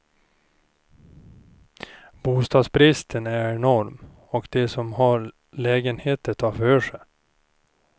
Bostadsbristen är enorm och de som har lägenheter tar för sig.